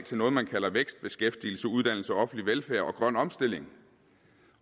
til noget man kalder vækst beskæftigelse uddannelse offentlig velfærd og grøn omstilling